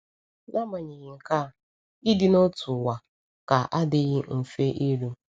N’agbanyeghị nke a, ịdị n’otu ụwa ka adịghị mfe iru.